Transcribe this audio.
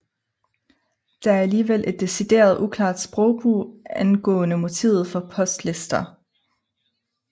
Der er alligevel et decideret uklart sprogbrug angående motivet for postlister